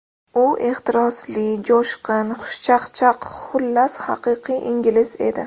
U ehtirosli, jo‘shqin, xushchaqchaq, xullas, haqiqiy ingliz edi.